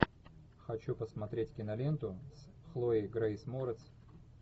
хочу посмотреть киноленту с хлоей грейс морец